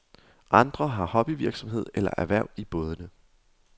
Andre har hobbyvirksomhed eller erhverv i bådene.